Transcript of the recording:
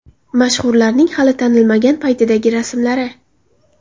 Mashhurlarning hali tanilmagan paytidagi rasmlari .